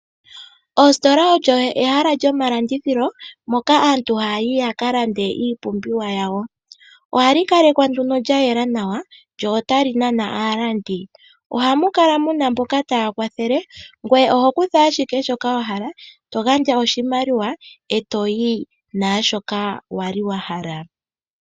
Ositola olyo ehala lyomalandithilo moka aantu haya yi yaka lande iipumbiwa yawo. Ohali kalekwa nduno lyayela nawa, lyo ota li nana aalandi. Ohamu kala muna mboka taya kwathele, ngoye oho kutha ashike shoka wa hala, to gandja oshimaliwa e toyi naashoka wali wa hala.